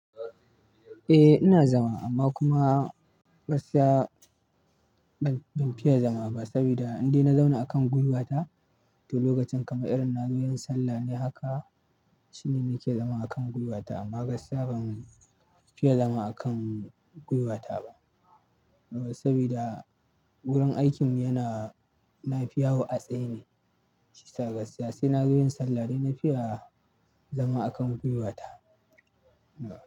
Eh ina zama amma kuma gaskiya ban fiye zama ba saboda indai na zauna akan gwiwata to lokacin kamar irin nazo yin sallah ne haka shine nake zama akan gwiwata amma gaskiya ban fiye zama akan gwiwata ba saboda wurin aikinmu yana, na fi yawo a tsaye ne. Gaskiya sai na zo yin sallah dai na fiya zama akan gwiwata.